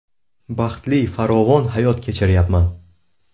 Baxtli farovon hayot kechiryapman.